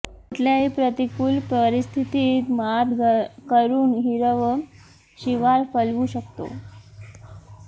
कुठल्याही प्रतिकुल परिस्थितीत मात करून हिरवं शिवार फुलवू शकतो